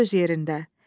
Bu öz yerində.